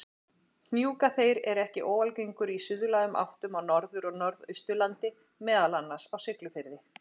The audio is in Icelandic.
Hnjúkaþeyr er ekki óalgengur í suðlægum áttum á Norður- og Norðausturlandi, meðal annars á Siglufirði.